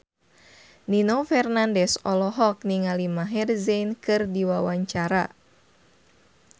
Nino Fernandez olohok ningali Maher Zein keur diwawancara